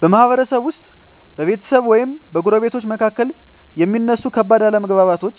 በማህበረሰብ ውስጥ በቤተሰብ ወይም በጎረቤቶች መካከል የሚነሱ ከባድ አለመግባባቶች